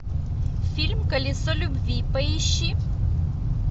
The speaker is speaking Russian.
фильм колесо любви поищи